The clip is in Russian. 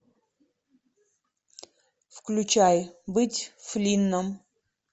включай быть флинном